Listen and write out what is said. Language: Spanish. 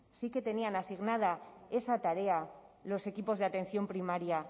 sí que tenían asignada esa tarea los equipos de atención primaria